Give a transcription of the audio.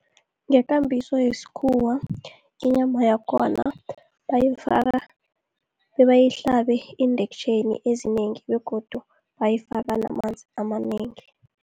Ngekambiso yesikhuwa inyama yakhona, bayifaka bebayihlabe iindektjheni ezinengi begodu bayifaka namanzi amanengi.